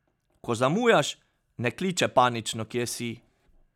Ko zamujaš, ne kliče panično, kje si.